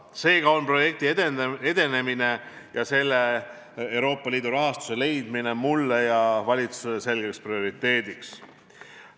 Seega on projekti edenemine ja sellele Euroopa Liidu rahastuse leidmine nii mulle kui ka valitsusele selgeks prioriteediks.